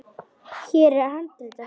Hér er handrit að sögu.